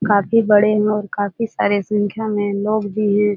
काफी बड़े और काफी सारे संख्या में लोग भी हैं ।